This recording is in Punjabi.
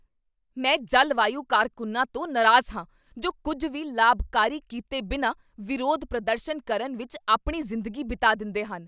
ਮੈਂ ਜਲਵਾਯੂ ਕਾਰਕੁੰਨਾਂ ਤੋਂ ਨਾਰਾਜ਼ ਹਾਂ ਜੋ ਕੁੱਝ ਵੀ ਲਾਭਕਾਰੀ ਕੀਤੇ ਬਿਨਾਂ ਵਿਰੋਧ ਪ੍ਰਦਰਸ਼ਨ ਕਰਨ ਵਿੱਚ ਆਪਣੀ ਜ਼ਿੰਦਗੀ ਬਿਤਾ ਦਿੰਦੇਹਨ।